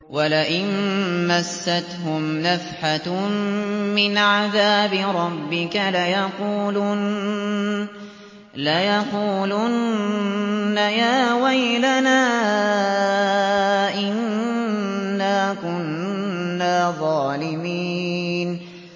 وَلَئِن مَّسَّتْهُمْ نَفْحَةٌ مِّنْ عَذَابِ رَبِّكَ لَيَقُولُنَّ يَا وَيْلَنَا إِنَّا كُنَّا ظَالِمِينَ